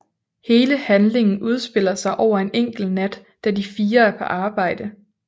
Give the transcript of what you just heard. Hele handlingen udspiller sig over en enkelt nat da de fire er på arbejde